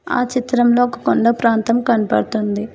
ఆ చిత్రంలో ఒక కొండ ప్రాంతం కనబడుతుంది.